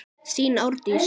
Þín Árdís.